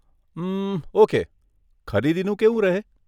ઉમ્મ, okay, ખરીદીનું કેવું રહે?